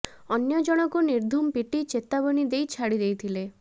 ଅନ୍ୟ ଜଣକୁ ନିର୍ଧୁମ ପିଟି ଚେତାବନୀ ଦେଇ ଛାଡି ଦେଇଥିଲେ